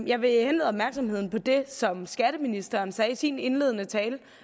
jeg vil henlede opmærksomheden på det som skatteministeren sagde i sin indledende tale